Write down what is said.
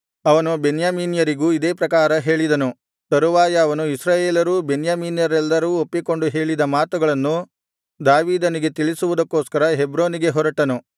ಅವನು ಬೆನ್ಯಾಮೀನ್ಯರಿಗೂ ಇದೇ ಪ್ರಕಾರ ಹೇಳಿದನು ತರುವಾಯ ಅವನು ಇಸ್ರಾಯೇಲರೂ ಬೆನ್ಯಾಮೀನ್ಯರೆಲ್ಲರೂ ಒಪ್ಪಿಕೊಂಡು ಹೇಳಿದ ಮಾತುಗಳನ್ನು ದಾವೀದನಿಗೆ ತಿಳಿಸುವುದಕ್ಕೋಸ್ಕರ ಹೆಬ್ರೋನಿಗೆ ಹೊರಟನು